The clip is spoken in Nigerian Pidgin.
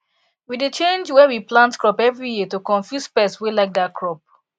we dey change where we plant crop every year to confuse pest wey like that crop